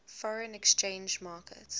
foreign exchange market